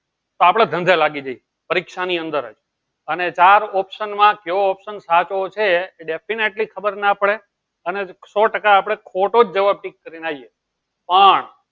આપળે જન્જ્હા લાગી જાય પરીક્ષા ની અંદર અને ચાર option માં કયો option સાચો છે એ definitely ખબર ના પડે અને સૌ ટકા આપળે ખોટો જવાબ ટીક કરી ને આયીયે પણ